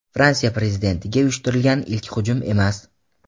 Fransiya Prezidentiga uyushtirilgan ilk hujum emas.